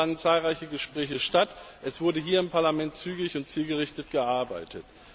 Es fanden zahlreiche Gespräche statt, es wurde hier im Parlament zügig und zielgerichtet gearbeitet.